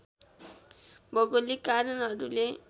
भौगोलिक कारणहरूले